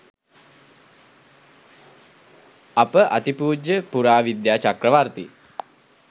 අප අතිපූජ්‍ය පුරාවිද්‍යා චක්‍රවර්තී